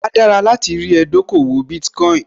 Áá dára láti rí ẹ dókòwò Bitcoin